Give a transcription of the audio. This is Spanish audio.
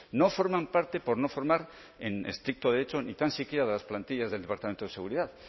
no forman parte por no formar en estricto derecho ni tan siquiera de las plantillas del departamento de seguridad